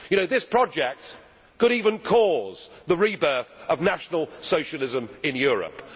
You know, this project could even cause the rebirth of National Socialism in Europe.